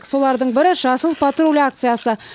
солардың бірі жасыл патруль акциясы